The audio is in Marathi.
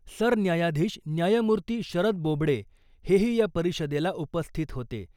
सरन्यायाधीश न्यायमूर्ती शरद बोबडे हेही या परिषदेला उपस्थित होते .